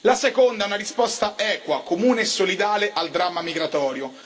La seconda è una risposta equa, comune e solidale al dramma migratorio.